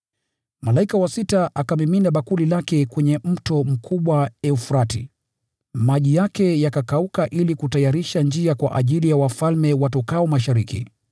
Malaika wa sita akamimina bakuli lake kwenye mto mkubwa Frati, maji yake yakakauka ili kutayarisha njia kwa ajili ya wafalme watokao Mashariki.